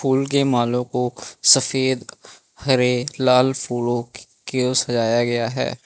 उनके मालों को सफेद हरे लाल फूलों के उस सजाया गया है।